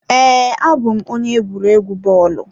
Ee, abụ m onye egwuregwu bọọlụ.